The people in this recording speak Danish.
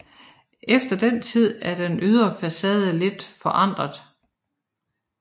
Efter den tid er den ydre facade lidt forandret